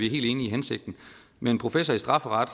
helt enige i hensigten men en professor i strafferet